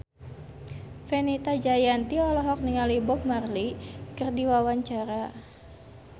Fenita Jayanti olohok ningali Bob Marley keur diwawancara